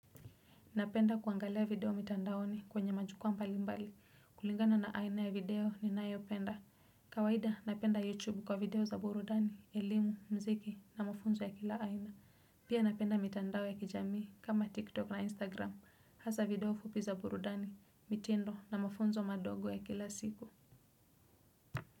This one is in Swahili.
Napenda kuangalia video mitandaoni kwenye majukua mbalimbali. Kulingana na aina ya video ni nayopenda. Kawaida napenda YouTube kwa video za burudani, elimu, mziki na mafunzo ya kila aina. Pia napenda mitandao ya kijami kama TikTok na Instagram. Hasa video fupi za burudani, mitindo na mafunzo madogo ya kila siku.